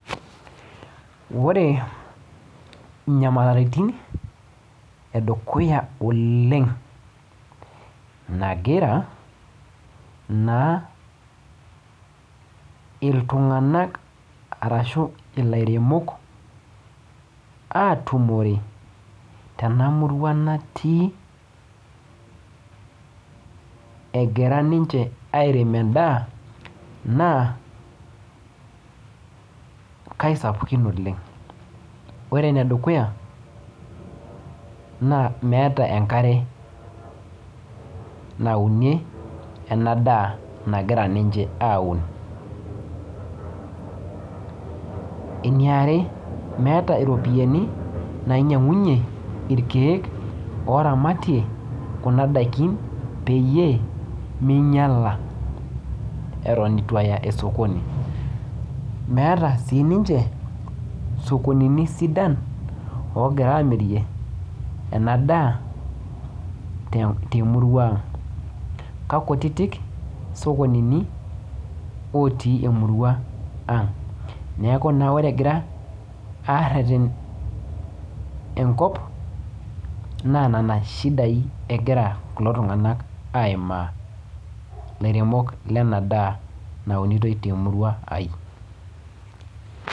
Ore inyamalaritin edukuya oleng nagira naa iltung'anak arashu ilairemok atumore tena murua natii egira ninche airem endaa naa kaisapukin oleng ore enedukuya naa meeta enkare naunie ena daa nagira ninche aun eniare meeta iropiani nainyiang'unyie irkeek oramatie kuna daikin peyie meinyiala eton itu aya esokoni meeta sininche isokonini sidan ogira amirie ena daa te temurua ang kakutitik isokonini otii emurua ang neeku naa ore egira arreten enkop naa nana shidai egira kulo tung'anak aimaa ilairemok lena daa naunitoi te murua ai.